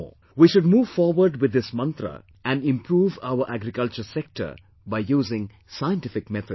We should move forward with this 'mantra' and improve our agriculture sector by using scientific methods